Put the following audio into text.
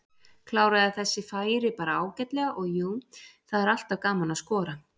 Kláraði þessi færi bara ágætlega og jú, það er alltaf gaman að skora.